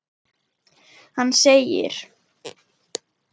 Hann segir